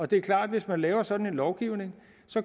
det er klart at hvis man laver sådan en lovgivning